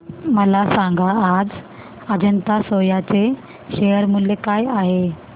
मला सांगा आज अजंता सोया चे शेअर मूल्य काय आहे